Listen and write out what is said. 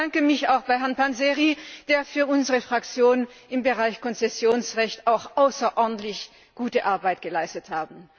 Ich bedanke mich auch bei Herrn Panzeri, der für unsere Fraktion im Bereich Konzessionsrecht auch außerordentlich gute Arbeit geleistet hat.